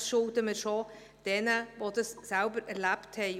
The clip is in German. Das schulden wir auch denen, die das selbst erlebt haben.